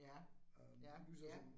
Ja, ja ja